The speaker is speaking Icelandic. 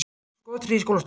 Hóf skothríð í skólastofu